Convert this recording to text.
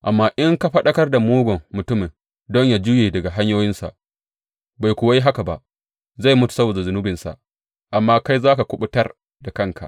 Amma in ka faɗakar da mugun mutumin don yă juye daga hanyoyinsa bai kuwa yi haka ba, zai mutu saboda zunubinsa, amma kai za ka kuɓutar da kanka.